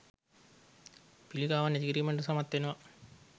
පිලිකාවන් ඇතිකිරීමට සමත් වෙනවා.